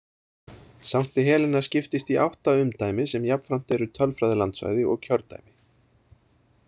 Sankti Helena skiptist í átta umdæmi sem jafnframt eru tölfræðilandsvæði og kjördæmi.